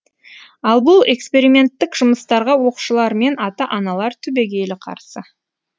ал бұл эксперименттік жұмыстарға оқушылар мен ата аналар түбегейлі қарсы